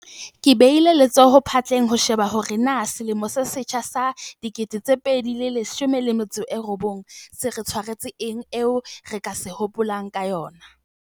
Ke behile letsoho phatleng ho sheba hore na selemo se setjha sa 2019 se re tshwaretse eng eo re ka se hopolang ka yona.